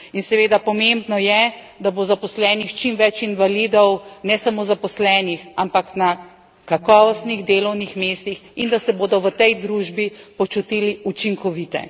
In seveda pomembno je, da bo zaposlenih čim več invalidov, ne samo zaposlenih, ampak na kakovostnih delovnih mestih, in da se bodo v tej družbi počutili učinkovite.